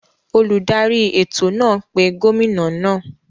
Oludari eto naa pe gomina naa.